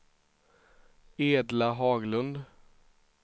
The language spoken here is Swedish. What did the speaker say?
Edla Haglund